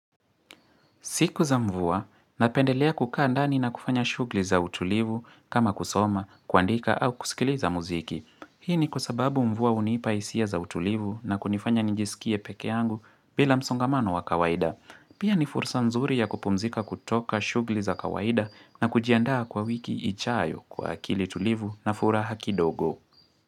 Siku za mvua, napendelea kukaa ndani na kufanya shugli za utulivu kama kusoma, kuandika au kusikili za muziki. Hii ni kwa sababu mvua hunipa hisia za utulivu na kunifanya njisikie peke yangu bila msongamano wa kawaida. Pia ni fursa mzuri ya kupumzika kutoka shugli za kawaida na kujiandaa kwa wiki ijayo kwa akili tulivu na furaha kidogo.